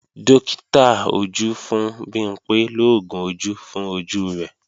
Dókítà ojú fún Bimpé lóògùn ojú fún ojú rẹ̀